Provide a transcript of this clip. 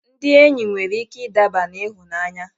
Ndị enyi nwere ike ịdaba n'ịhụnanya.